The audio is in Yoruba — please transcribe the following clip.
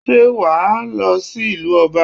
Sé wà á lọ sí ìlú Ọba?